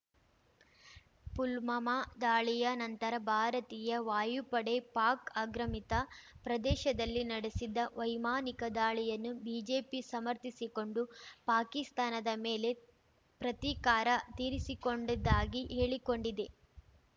ಪುಲ್ವಾಮಾ ದಾಳಿಯ ನಂತರ ಭಾರತೀಯ ವಾಯುಪಡೆ ಪಾಕ್ ಆಗ್ರಮಿತ ಪ್ರದೇಶದಲ್ಲಿ ನಡೆಸಿದ ವೈಮಾನಿಕ ದಾಳಿಯನ್ನು ಬಿಜೆಪಿ ಸಮರ್ಥಿಸಿಕೊಂಡು ಪಾಕಿಸ್ತಾನದ ಮೇಲೆ ಪ್ರತೀಕಾರ ತೀರಿಸಿಕೊಂಡಿದ್ದಾಗಿ ಹೇಳಿಕೊಂಡಿದೆ